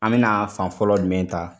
An bi na fan fɔlɔ jumɛn ta?